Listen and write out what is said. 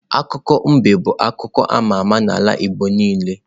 Akụkọ mbe bu akụkọ ama ama n'ala igbo niile.